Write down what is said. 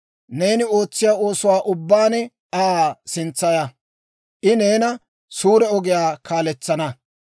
Neeni ootsiyaa oosuwaa ubbaan Aa sintsaya; I neena suure ogiyaa kaaletsana.